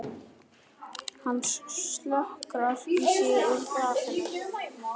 Hann slokrar í sig úr glasinu.